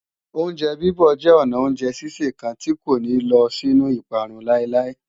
Oúnjẹ bíbọ̀ jẹ́ ọnà oúnjẹ sísè kan tí kò ní lọ sínú ìparun láíláí